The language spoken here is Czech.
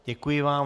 Děkuji vám.